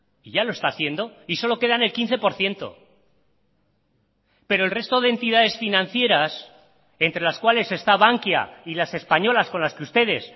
y ya lo está haciendo y solo quedan el quince por ciento pero el resto de entidades financieras entre las cuales está bankia y las españolas con las que ustedes